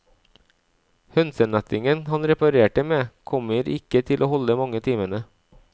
Hønsenettingen han reparerte med, kommer ikke til å holde mange timene.